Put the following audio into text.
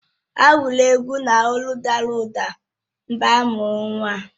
Ha gụrụ egwu n’olụ dara ụda mgbe a mụrụ nwa ahụ